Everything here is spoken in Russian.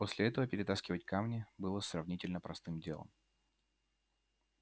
после этого перетаскивать камни было сравнительно простым делом